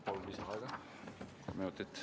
Palun lisaaega kolm minutit.